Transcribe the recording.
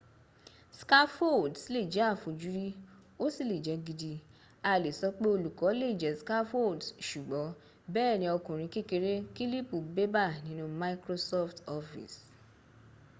scaffolds lè jẹ́ àfojúrí ó sì lè jẹ́ gidi a lè sọ pé olùkọ lè jẹ́ scaffolds ṣùgbọ́n bẹ́ẹ̀ ni ọkùrin kékeré kílípù bébà nínu microsoft office